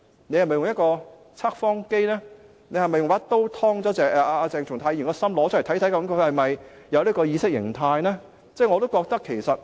是否用測謊機或一把刀劏開鄭松泰議員的心臟，看看是否存在這種意識形態呢？